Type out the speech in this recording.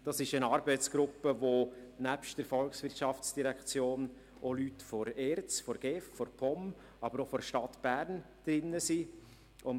Das ist eine Arbeitsgruppe, in der nebst der VOL auch Leute der ERZ, der GEF, der POM, aber auch der Stadt Bern Einsitz haben.